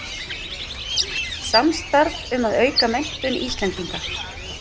Samstarf um að auka menntun Íslendinga